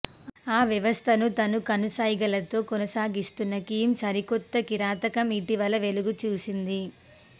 ఆ వ్యవస్థను తన కనుసైగలతో కొనసాగిస్తున్న కిమ్ సరికొత్త కిరాతకం ఇటీవల వెలుగు చూసింది